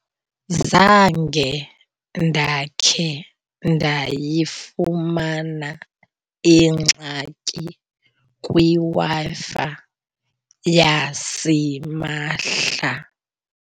Zange ndakhe ndayifumana ingxaki kwiWi-Fi yasimahla.